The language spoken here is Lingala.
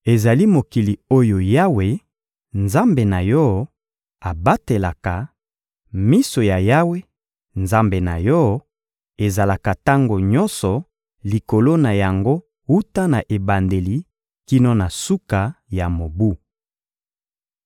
Ezali mokili oyo Yawe, Nzambe na yo, abatelaka; miso ya Yawe, Nzambe na yo, ezalaka tango nyonso likolo na yango wuta na ebandeli kino na suka ya mobu.